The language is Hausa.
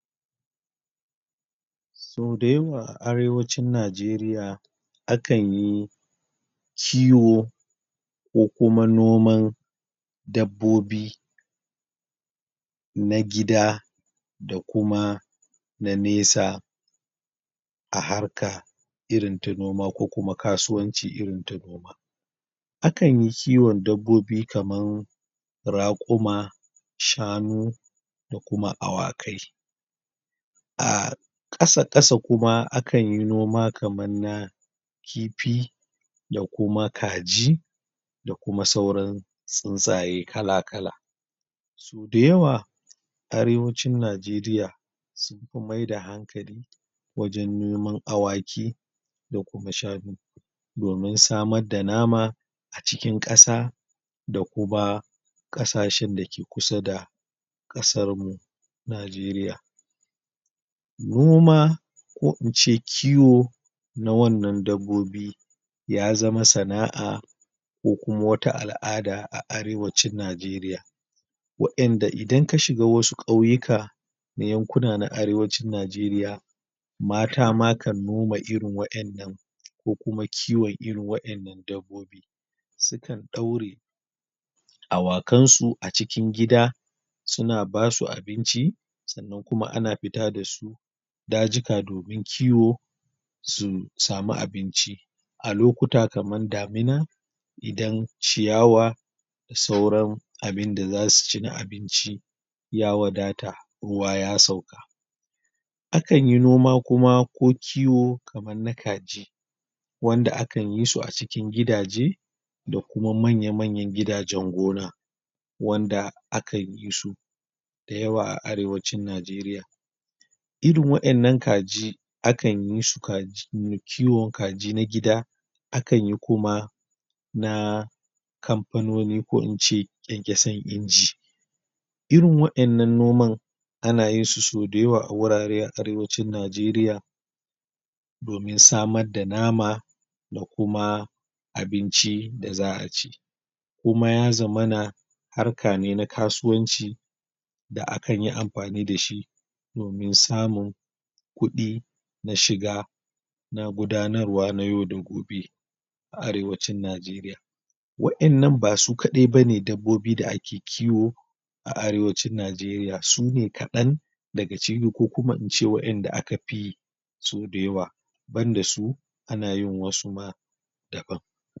Sau dayawa a arewacin Najeriya, a kan yi kiwo ko kuma noman dabbobi na gida da kuma na nesa a harka irin ta noma ko kuma kasuwanci irin ta gona a kan yi kiwon dabbobi kaman raƙuma, shanu, da kuma awakai. ahh ƙasa ƙasa kuma a kan yi noma kaman na kifi da kuma kaji da kuma sauran tsintsaye kala-kala. Dayawa arewacin Najeriya sunfi maida hankali wajen noman awaki da kuma shanu domin samadda nama a cikin ƙasa da kuma ƙasashen da ke kusa da ƙasarmu Najeriya. Noma ko ince kiwo na wannan dabbobi ya zama sana'a ko kuma wata al'ada a arewacin Najeriya wa'yanda idan ka shiga wasu ƙauyuka na yankuna na arewacin Najeriya mata ma kan noma irin wa'yannan ko kuma kiwon irin wa'yannan dabbobi su kan ɗaure awakansu a cikin gida su na basu abinci sannan kuma ana fita da su dajika domin kiwo su samu abinci a lokuta kaman damina, idan ciyawa da sauran abinda zasu ci na abinci ya wadata ruwa ya sauka. A kan yi noma kuma ko kiwo kaman na kaji wanda a kan yi su a cikin gidaje da kuma manya-manyan gidajen gona wanda a kan yi su dayawa a arewacin Najeriya. Irin wa'yannan kaji a kanyi su kaji kiwon kaji na gida a kan yi kuma na kamfanoni ko ince 'ƙyan-'ƙyasan inji. Irin wa'yannan noman a na yinsu sau dayawa a wurare a arewacin Najeriya domin samadda nama, da kuma abinci da za'a ci kuma ya zamana harka ne na kasuwanci da a kan yi amfani da shi domin samun kuɗi na shiga na gudanarwa na yau da gobe a arewacin Najeriya. Wa'yannan ba su kaɗai ba ne dabbobi da ake kiwo a arewacin Najeriya, su ne kaɗan daga ciki ko kuma ince waɗanda aka fi su da yawa banda su ana yin wasu ma daban